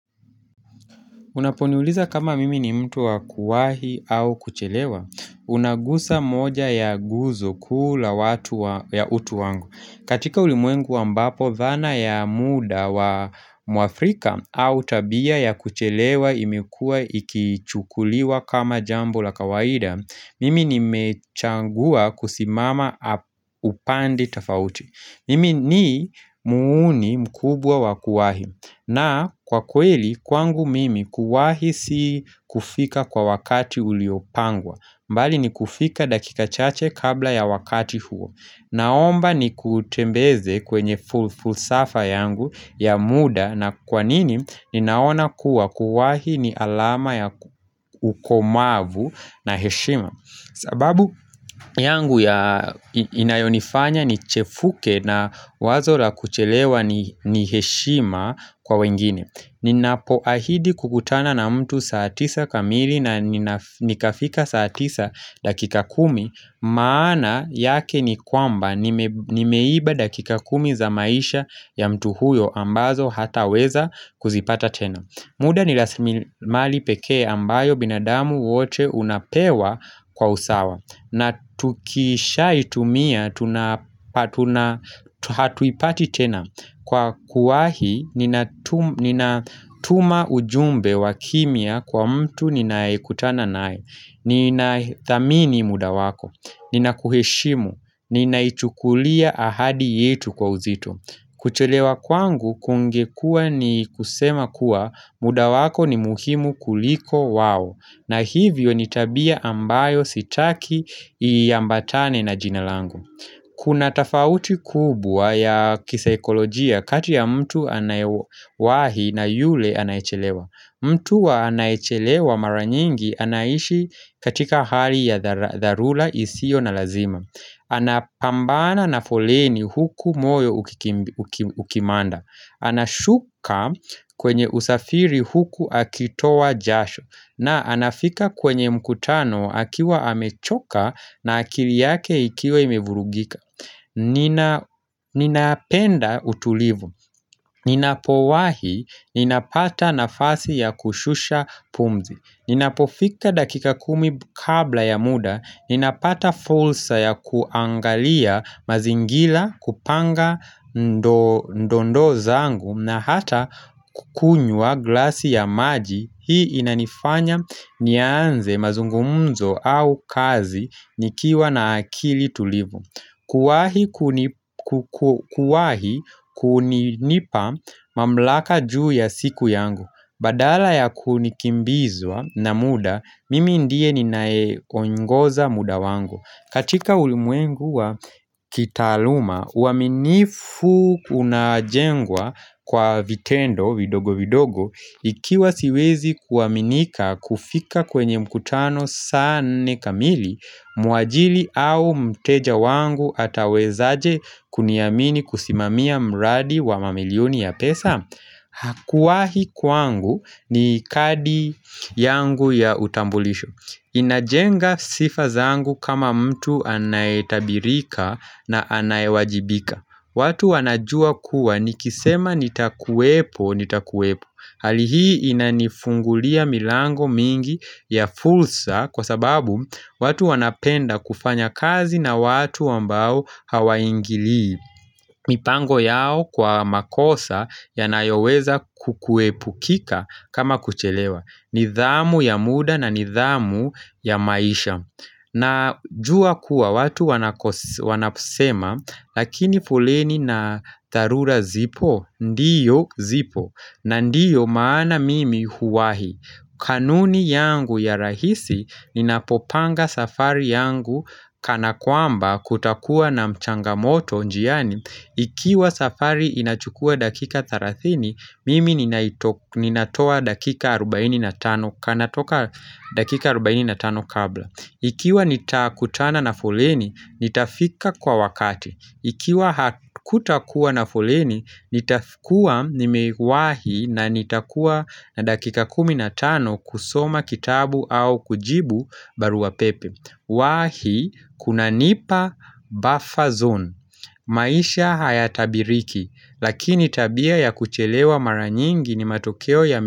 Unaponiuliza kama mimi ni mtu wa kuahi au kuchelewa, unagusa moja ya guzo kuu la watu ya utu wangu. Katika ulimwengu ambapo, dhana ya muda wa mwafrika au tabia ya kuchelewa imekuwa ikichukuliwa kama jambo la kawaida, mimi nimechangua kusimama upande tofauti. Mimi ni muuni mkubwa wa kuwahi na kwa kweli kwangu mimi kuwahi si kufika kwa wakati uliopangwa. Mbali ni kufika dakika chache kabla ya wakati huo Naomba nikutembeze kwenye fulsafa yangu ya muda na kwa nini ni naona kuwa kuwahi ni alama ya ukomavu na heshima sababu yangu ya inayonifanya nichefuke na wazo la kuchelewa ni heshima kwa wengine. Ninapoahidi kukutana na mtu saa tisa kamili na nikafika saa tisa dakika kumi Maana yake ni kwamba nimeiba dakika kumi za maisha ya mtu huyo ambazo hataweza kuzipata tena. Muda nirasilimali pekee ambayo binadamu wote unapewa kwa usawa na tukishaitumia hatuipati tena Kwa kuahi nina tuma ujumbe wa kimya kwa mtu ninayekutana nae. Nina thamini muda wako Nina kuheshimu Nina ichukulia ahadi yetu kwa uzito kuchelewa kwangu kungekua ni kusema kuwa muda wako ni muhimu kuliko wao na hivyo ni tabia ambayo sitaki iambatane na jina langu. Kuna tafauti kubwa ya kisaikolojia kati ya mtu anayewahi na yule anayechelewa. Mtu wa anayechelewa maranyingi anaishi katika hali ya dharura isiyo na lazima. Ana pambana na foleni huku moyo ukimanda. Ana shuka kwenye usafiri huku akitowa jasho na anafika kwenye mkutano akiwa amechoka na akili yake ikiwa imevurugika Ninapenda utulivu. Ninapowahi, ninapata nafasi ya kushusha pumzi. Ninapofika dakika kumi kabla ya muda, ninapata fursa ya kuangalia mazingira kupanga ndondoo zangu na hata kukunywa glasi ya maji. Hii inanifanya nianze mazungumzo au kazi nikiwa na akili tulivu Kuwahi kunipa mamlaka juu ya siku yangu Badala ya kunikimbizwa na muda Mimi ndiye ninaye onyungoza muda wangu katika ulimwengu wa kitaaluma uaminifu unajengwa kwa vitendo vidogo vidogo Ikiwa siwezi kuaminika kufika kwenye mkutano saa nne kamili Muajiri au mteja wangu atawezaje kuniamini kusimamia mradi wa mamilioni ya pesa Hakuwahi kwangu ni kadi yangu ya utambulisho inajenga sifa zangu kama mtu anayetabirika na anayewajibika. Watu wanajua kuwa nikisema nitakuwepo nitakuwepo. Hali hii inanifungulia milango mingi ya fursa kwa sababu watu wanapenda kufanya kazi na watu ambao hawaingili mipango yao kwa makosa yanayoweza kukuepukika kama kuchelewa. Nidhamu ya muda na nidhamu ya maisha. Najua kuwa watu wanaposema lakini foleni na dharura zipo? Ndiyo zipo na ndiyo maana mimi huwahi. Kanuni yangu ya rahisi ninapopanga safari yangu kana kwamba kutakuwa na mchanga moto njiani. Ikiwa safari inachukua dakika 30, mimi ninatoa dakika 45 kabla. Ikiwa nitakutana na foleni, nitafika kwa wakati. Ikiwa kutakuwa na foleni, nitafikuwa nimeiwahi na nitakuwa na dakika kumi na tano kusoma kitabu au kujibu barua pepe. Wahi, kunanipa, buffer zone. Maisha hayatabiriki, lakini tabia ya kuchelewa maranyingi ni matokeo ya.